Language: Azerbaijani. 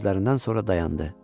Sözlərindən sonra dayandı.